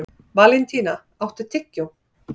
Valentína, áttu tyggjó?